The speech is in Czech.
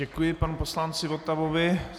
Děkuji panu poslanci Votavovi.